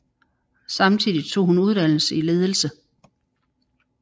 Samtidig tog hun uddannelse i ledelse